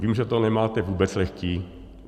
Vím, že to nemáte vůbec lehké.